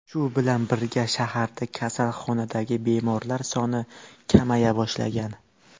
Shu bilan birga, shaharda kasalxonadagi bemorlar soni kamaya boshlagan.